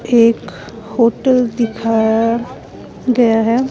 एक होटल दिखाया गया है.